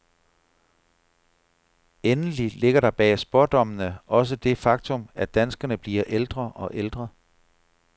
Endelig ligger der bag spådommene også det faktum, at danskerne bliver ældre og ældre.